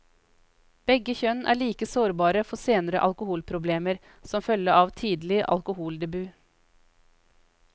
Begge kjønn er like sårbare for senere alkoholproblemer som følge av tidlig alkoholdebut.